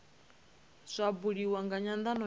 zwa buliwa nga nyandano ya